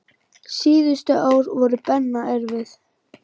Síðustu ár voru Benna erfið.